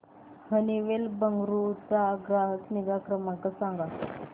Honeywell Bengaluru चा ग्राहक निगा नंबर सांगा